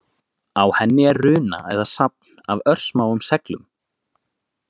Á henni er runa eða safn af örsmáum seglum.